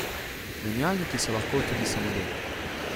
Menjalniki so lahko tudi samodejni.